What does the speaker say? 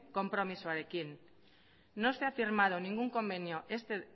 konpromezuarekin no se ha firmado ningún convenio este